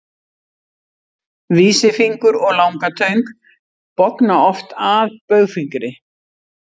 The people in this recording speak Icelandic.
Vísifingur og langatöng bogna oft að baugfingri.